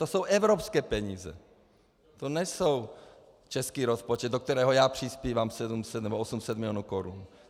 To jsou evropské peníze, to není český rozpočet, do kterého já přispívám 700 nebo 800 milionů korun.